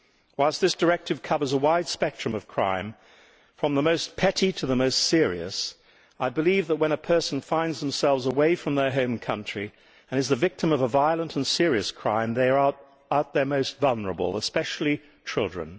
Whilst this directive covers a wide spectrum of crime from the most petty to the most serious, I believe that when people find themselves away from their home country and are the victim of a violent and serious crime, they are at their most vulnerable, especially children.